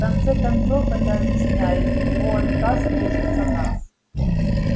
в конце концов это объясняет и его отказ слушаться нас